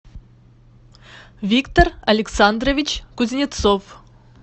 виктор александрович кузнецов